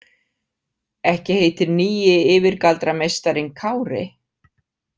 Ekki heitir nýi yfirgaldrameistarinn Kári?